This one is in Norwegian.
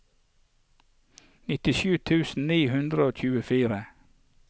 nittisju tusen ni hundre og tjuefire